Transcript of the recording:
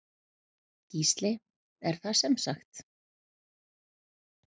Gísli: Er það semsagt.